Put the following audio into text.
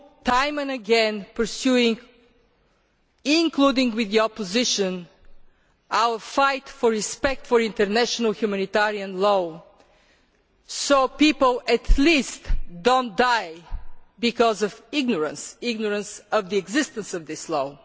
time and again pursuing including with the opposition our fight for respect for international humanitarian law, so that people at least do not die because of ignorance of the existence of this law.